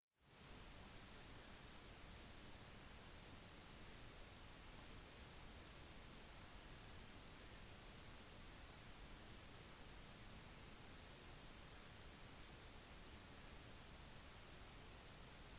i mange land snakker hele befolkningen flytende engelsk og i enda flere land har spesielt de yngre en begrenset engelskkunnskap